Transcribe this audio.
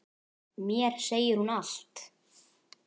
Mér segir hún allt: